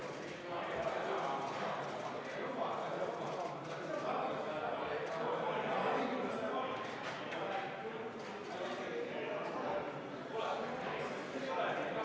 Juhataja võetud vaheaja jooksul toimus Riigikogu juhatuse istung, kus otsustati konsensuslikult, et Riigikogu istungite saalis loosungeid ja plakateid ei eksponeerita.